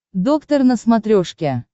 доктор на смотрешке